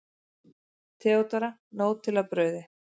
THEODÓRA: Nóg til af brauði!